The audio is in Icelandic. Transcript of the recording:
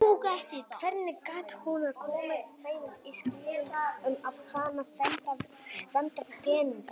Hvernig gat hún komið þeim í skilning um að hana vantaði peninga?